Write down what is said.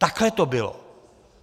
Takhle to bylo.